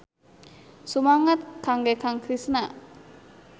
Sumanget kangge Kang Krisna